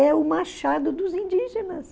É o machado dos indígenas.